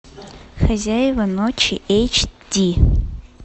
хозяева ночи эйч ди